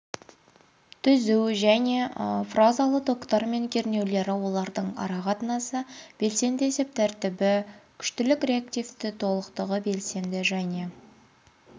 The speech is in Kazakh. түзу және фазалы токтар мен кернеулері оларлың ара қатынасы белсенді есеп тәртібі күштілік реактивті толықтығы белсенді және